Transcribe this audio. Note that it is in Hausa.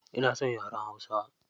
Ina son yaren hausa.